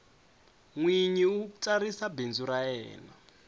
nwinyi u tsarisa bindzu ra yena